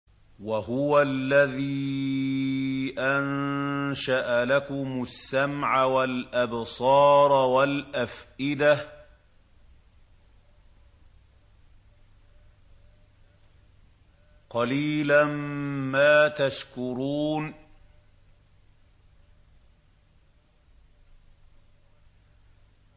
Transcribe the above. وَهُوَ الَّذِي أَنشَأَ لَكُمُ السَّمْعَ وَالْأَبْصَارَ وَالْأَفْئِدَةَ ۚ قَلِيلًا مَّا تَشْكُرُونَ